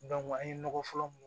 an ye nɔgɔ fɔlɔ mun